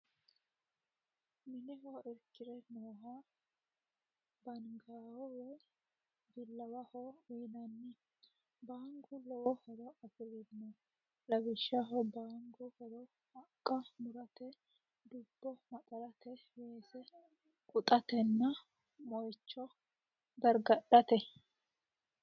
Mineho irki're nooha baangaho woy billawaho yinanni. baangu lowo horo afi'rino. Lawishaho baangu horo haqqa murate, dubbo maxarate, weese quxatenna moicho gargadhate.